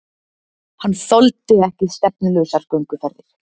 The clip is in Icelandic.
Hann þoldi ekki stefnulausar gönguferðir.